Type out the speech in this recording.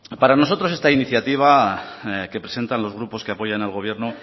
para nosotros esta iniciativa que presentan los grupos que apoyan al gobierno